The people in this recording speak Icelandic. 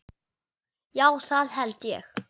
Já það held ég.